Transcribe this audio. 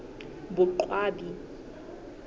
boqwabi